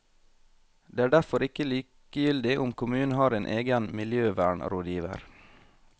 Det er derfor ikke likegyldig om kommunen har en egen miljøvernrådgiver.